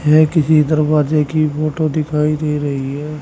यह किसी दरवाजे की फोटो दिखाई दे रही है।